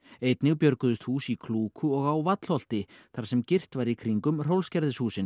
einnig björguðust hús í Klúku og á Vallholti þar sem girt var í kringum